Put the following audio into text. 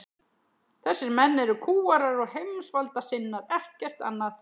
Þessir menn eru kúgarar og heimsvaldasinnar, ekkert annað.